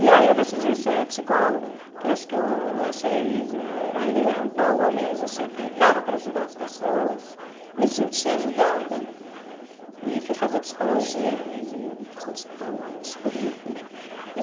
E aí eu decidi ser psicóloga, porque eu acho que eu achei uma linha boa mesmo, achei que dava para ajudar as pessoas, me senti ajudada e fui fazer psicologia e sou psicóloga hoje.